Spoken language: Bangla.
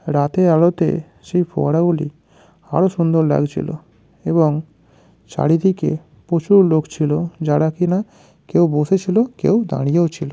রাতে আলোতে সেই ফোয়ারা গুলি আরো সুন্দর লাগছিল এবং চারিদিকে প্রচুর লোক ছিল যারা কিনা কেউ বসেছিল কেউ দাঁড়িয়েও ছিল।